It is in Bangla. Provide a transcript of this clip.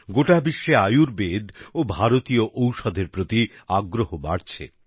গোটা বিশ্বে আয়ুর্বেদ ও ভারতীয় ঔষধের প্রতি আগ্রহ বাড়ছে